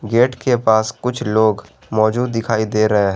Gate के पास कुछ लोग मौजूद दिखाई दे रहे हैं।